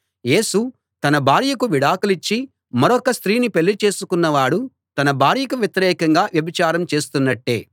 యేసు తన భార్యకు విడాకులిచ్చి మరొక స్త్రీని పెళ్ళి చేసుకున్నవాడు తన భార్యకు వ్యతిరేకంగా వ్యభిచారం చేస్తున్నట్టే